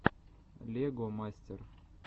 лего мастер